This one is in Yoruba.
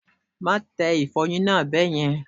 Má tẹ ìfọyín náà bẹ́yẹn.!